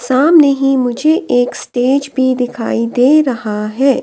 सामने ही मुझे एक स्टेज भी दिखाई दे रहा है।